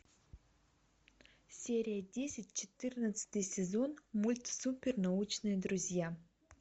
серия десять четырнадцатый сезон мульт супер научные друзья